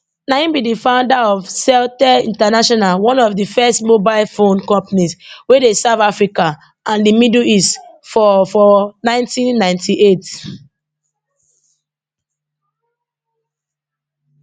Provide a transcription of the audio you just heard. na im be di founder of celtel international one of di first mobile phone companies wey dey serve africa and di middle east for for 1998